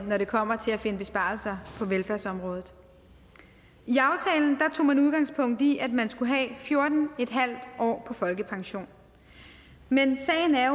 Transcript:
når det kommer til at finde besparelser på velfærdsområdet i aftalen tog man udgangspunkt i at man skulle have fjorten en halv år på folkepension men sagen er